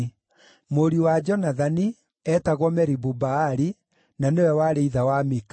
Mũriũ wa Jonathani: eetagwo Meribu-Baali, na nĩwe warĩ ithe wa Mika.